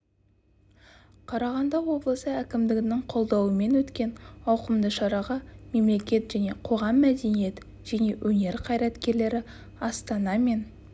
қарағанды облысы әкімдігінің қолдауымен өткен ауқымды шараға мемлекет және қоғам мәдениет және өнер қайраткерлері астана мен